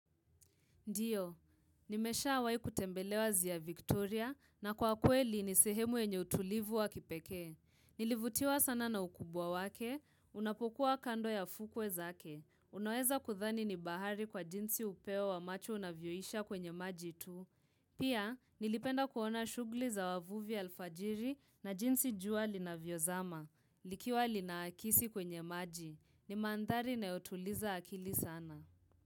Ndiyo, nimeshawahi kutembelea ziwa Victoria na kwa kweli ni sehemu yenye utulivu wa kipekee. Nilivutiwa sana na ukubwa wake, unapokuwa kando ya fukwe zake. Unaweza kuthani ni bahari kwa jinsi upeo wa macho unavyoisha kwenye maji tu. Pia, nilipenda kuona shughli za wavuvi alfajiri na jinsi jua linavyozama. Likiwa linaakisi kwenye maji. Ni mandhari inayotuliza akili sana.